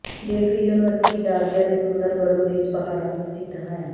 Delphi university Georgia ਦੇ ਸੁੰਦਰ blue ridge ਪਹਾੜਾਂ ਵਿੱਚ ਸਥਿਤ ਹੈ